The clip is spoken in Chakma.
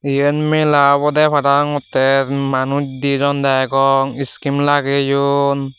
eyen mela obode parapangotte manuj dijon degong skim lageyon.